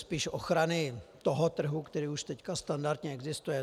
Spíš ochrany toho trhu, který už teď standardně existuje.